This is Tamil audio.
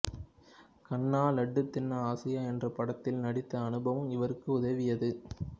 கண்ணா லட்டு தின்ன ஆசையா என்ற படத்தில் நடித்த அனுபவம் இவருக்கு உதவியது